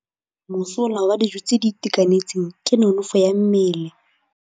Mosola wa dijô tse di itekanetseng ke nonôfô ya mmele.